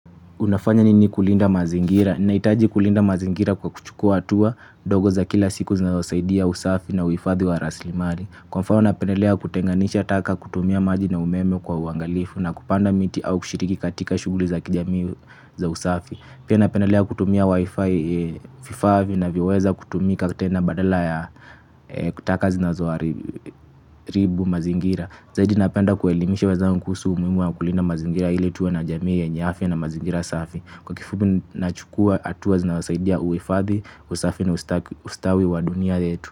Unafanya nini kulinda mazingira? Ninajitahidi kulinda mazingira kwa kuchukua hatua ndogo za kila siku zinazosaidia usafi na uhifadhi wa rasilimali. Kwa mfano, napendelea kutenganisha taka, kutumia maji na umeme kwa uangalifu, na kupanda miti au kushiriki katika shughuli za kijamii za usafi. Pia napendelea kutumia vifaa vinavyoweza kutumika tena badala ya taka zinazoharibu mazingira. Zaidi napenda kuwaelimisha wenzangu kuhusu umuhimu wa kulinda mazingira ili tuwe na jamii yenye afya na mazingira safi. Kwa kifupi, kuchukua hatua zinazosaidia uhifadhi, usafi na ustawi wa dunia yetu.